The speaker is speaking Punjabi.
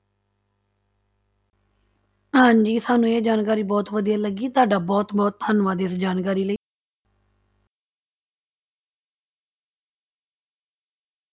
ਹਾਂਜੀ ਸਾਨੂੰ ਇਹ ਜਾਣਕਾਰੀ ਬਹੁਤ ਵਧੀਆ ਲੱਗੀ, ਤੁਹਾਡਾ ਬਹੁਤ ਬਹੁਤ ਧੰਨਵਾਦ ਇਸ ਜਾਣਕਾਰੀ ਲਈ।